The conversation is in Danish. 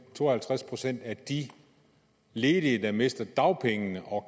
to og halvtreds procent af de ledige der mister dagpengene og